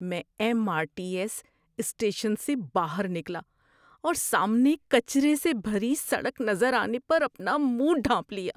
میں M R T S station سے باہر نکلا اور سامنے کچرے سے بھری سڑک نظر آنے پر اپنا منہ ڈھانپ لیا۔